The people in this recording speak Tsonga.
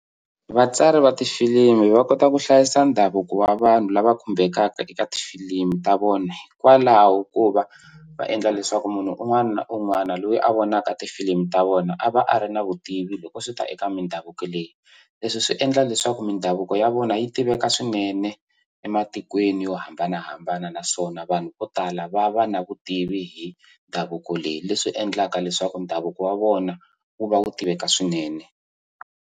Vatsari va tifilimi va kota ku hlayisa ndhavuko wa vanhu lava khumbekaka eka tifilimu ta vona hikwalaho ko va va endla leswaku munhu un'wana na un'wana loyi a vonaka tifilimu ta vona a va a ri na vutivi loko swi ta eka mindhavuko leyi leswi swi endla leswaku mindhavuko ya vona yi tiveka swinene ematikweni yo hambanahambana naswona vanhu vo tala va va na vutivi hi ndhavuko leyi leswi endlaka leswaku ndhavuko wa vona wu va wu tiveka swinene.